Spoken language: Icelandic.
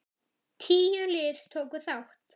Tíu lið tóku þátt.